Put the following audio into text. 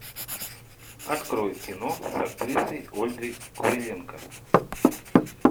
открой кино с актрисой ольгой куриленко